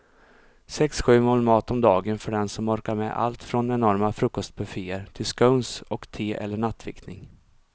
Sex, sju mål mat om dagen för den som orkar med allt från enorma frukostbufféer till scones och te eller nattvickning.